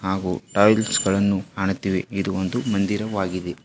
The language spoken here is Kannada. ಹಾಗು ಟೈಲ್ಸ್ ಗಳನ್ನು ಕಾಣುತ್ತಿವೆ ಇದು ಒಂದು ಮಂದಿರವಾಗಿದೆ.